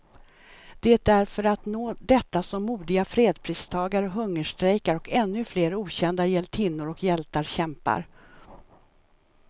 Det är för att nå detta som modiga fredspristagare hungerstrejkar, och ännu flera okända hjältinnor och hjältar kämpar.